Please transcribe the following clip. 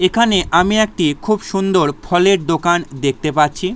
এখানে আমি একটি খুব সুন্দর ফলের দোকান দেখতে পাচ্ছি ।